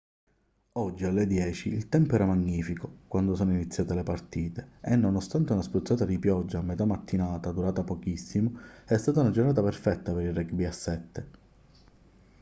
oggi alle 10:00 il tempo era magnifico quando sono iniziate le partite e nonostante una spruzzata di pioggia a metà mattinata durata pochissimo è stata una giornata perfetta per il rugby a 7